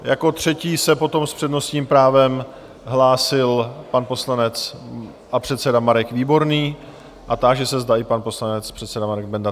Jako třetí se potom s přednostním právem hlásil pan poslanec a předseda Marek Výborný a táži se, zda i pan poslanec a předseda Marek Benda.